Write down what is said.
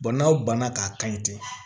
n'aw banna k'a kan ɲi ten